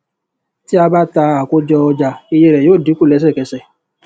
tí a bá ta àkójọ ọjà iye rẹ yóó dínkù lesekese